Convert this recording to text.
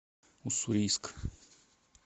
уссурийск